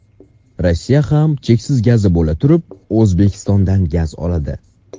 Rossiya ham cheksiz gazi bo‘laturib O‘zbekistondan gaz oladi.